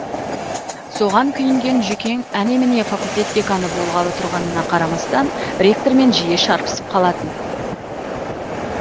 соған күйінген жүкең әне міне факультет деканы болғалы тұрғанына қарамастан ректормен жиі шарпысып қалатын